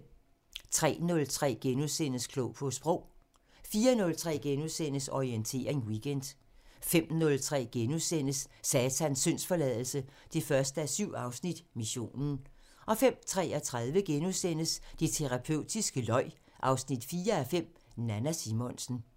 03:03: Klog på Sprog * 04:03: Orientering Weekend * 05:03: Satans syndsforladelse 1:7 – Missionen * 05:33: Det terapeutiske løg 4:5 – Nanna Simonsen *